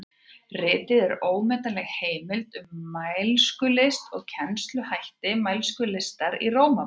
Ritið er ómetanleg heimild um mælskulist og kennsluhætti mælskulistar í Rómaborg.